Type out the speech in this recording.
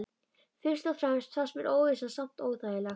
Fyrst og fremst fannst mér óvissan samt óþægileg.